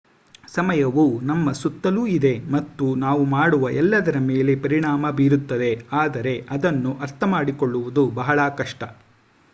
ಸಮಯವು ನಮ್ಮ ಸುತ್ತಲೂ ಇದೆ ಮತ್ತು ನಾವು ಮಾಡುವ ಎಲ್ಲದರ ಮೇಲೆ ಪರಿಣಾಮ ಬೀರುತ್ತದೆ ಆದರೆ ಅದನ್ನು ಅರ್ಥಮಾಡಿಕೊಳ್ಳುವುದು ಬಹಳ ಕಷ್ಟ